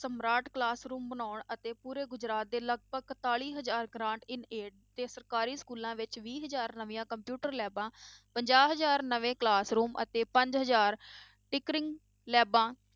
Smart classroom ਬਣਾਉਣ ਅਤੇ ਪੂਰੇ ਗੁਜਰਾਤ ਦੇ ਲਗਪਗ ਇਕਤਾਲੀ ਹਜ਼ਾਰ grant in aid ਤੇ ਸਰਕਾਰੀ schools ਵਿੱਚ ਵੀਹ ਹਜ਼ਾਰ ਨਵੀਂਆਂ computer labs ਪੰਜਾਹ ਹਜ਼ਾਰ ਨਵੇਂ classroom ਅਤੇ ਪੰਜ ਹਜ਼ਾਰ tinkering labs